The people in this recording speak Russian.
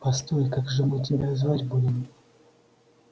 постой как же мы тебя звать будем